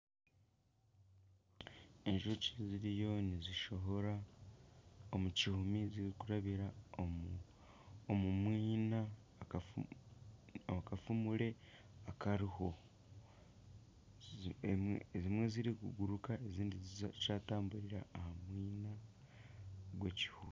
Enjoki ziriyo nizishohora omukihumi zirikurabira omumwiina ahakafumure akariho ezimwe niziguruka ezindi nizitamburira ahamwina gw'ekihumi